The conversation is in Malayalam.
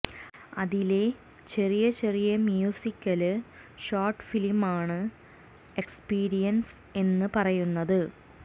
അതിലെ ചെറിയ ചെറിയ മ്യൂസിക്കല് ഷോട്ട്ഫിലിമാണ് ആണ് എക്സ്പീരിയന്സ് എന്ന് പറയുന്നത്